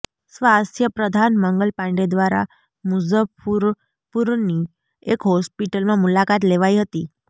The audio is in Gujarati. સ્વાસ્થય પ્રધાન મંગલ પાંડે દ્વારા મુઝફ્ફુરપુરની એક હોસ્પિટલમાં મુલાકાત લેવાઈ હતી